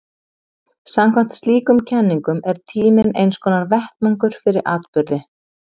samkvæmt slíkum kenningum er tíminn einskonar vettvangur fyrir atburði